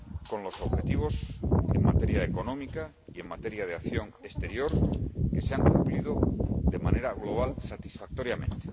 trabajo con los objetivos en materia económica y en materia de acción exterior, que se han cumplido, de manera global, satisfactoriamente.